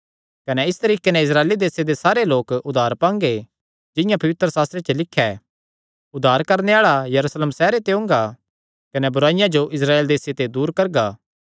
कने इस तरीके नैं इस्राएल देसे दे सारे लोक उद्धार पांगे जिंआं पवित्रशास्त्रे च लिख्या ऐ उद्धार करणे आल़ा यरूशलेम सैहरे ते ओंगा कने बुराईया जो इस्राएल देसे ते दूर करगा